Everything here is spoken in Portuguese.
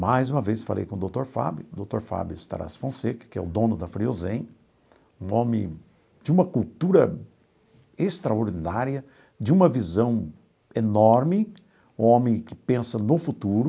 Mais uma vez, falei com o doutor Fábio, doutor Fábio Starace Fonseca, que é o dono da Friozem, um homem de uma cultura extraordinária, de uma visão enorme, um homem que pensa no futuro.